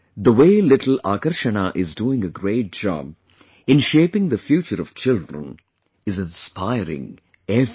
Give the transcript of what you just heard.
The way little Akarshna is doing a great job in shaping the future of children, is inspiring everyone